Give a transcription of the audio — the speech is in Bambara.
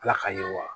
Ala ka yiriwa